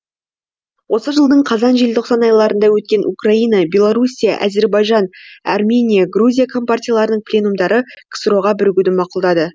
осы жылдың қазан желтоқсан айларында өткен украина белоруссия әзірбайжан армения грузия компартияларының пленумдары ксро ға бірігуді мақұлдады